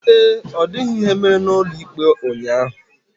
Ee, ọ dịghị ihe mere n'ụlọ ikpe ụnyaahụ.